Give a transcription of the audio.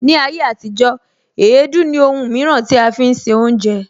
Ni ayé àtijó, èédú ní Òhùn mìíràn tí a fi ń se oúnjẹ